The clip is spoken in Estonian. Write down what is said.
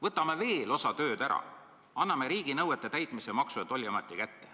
Võtame veel osa tööd ära, anname riiginõuete täitmise Maksu- ja Tolliameti kätte.